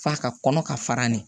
F'a ka kɔnɔ ka fara ne